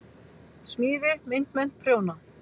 Smíði- myndmennt- prjóna